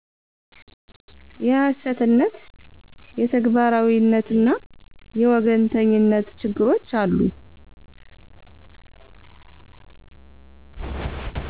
የሀሰትነት; የተግባራዉይነትና የወገኝተኝነት ችግሮች አሉ።